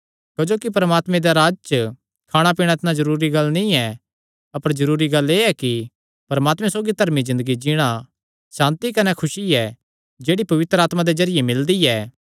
क्जोकि परमात्मे दा राज्ज च खाणापीणा इतणी जरूरी गल्ल नीं ऐ अपर जरूरी गल्ल एह़ ऐ कि परमात्मे सौगी धर्मी ज़िन्दगी जीणा सांति कने खुसी ऐ जेह्ड़ी पवित्र आत्मा दे जरिये मिलदी ऐ